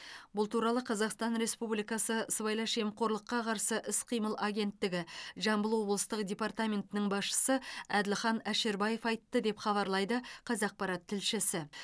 бұл туралы қазақстан республикасы сыбайлас жемқорлыққа қарсы іс қимыл агенттігі жамбыл облыстық департаментінің басшысы әділхан әшірбаев айтты деп хабарлайды қазақпарат тілшісі